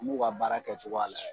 M'u ka baara kɛcogoya layɛ.